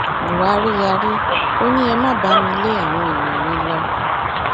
buhari yarí ó ní ẹ má bá mi lé àwọn èèyàn mi lọ